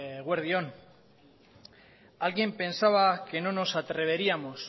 eguerdi on alguien pensaba que no nos atreveríamos